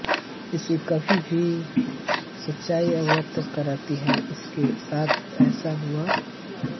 उसकी भाभी उसे सच्चाई से अवगत कराती है कि उसके साथ ऐसा क्यों हुआ